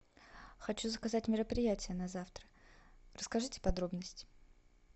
хочу заказать мероприятие на завтра расскажите подробности